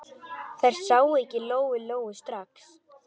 Þær sáu ekki Lóu-Lóu strax.